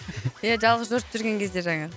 ия жалғыз жортып жүрген кезде жаңағы